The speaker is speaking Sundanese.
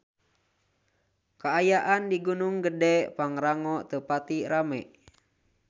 Kaayaan di Gunung Gedhe Pangrango teu pati rame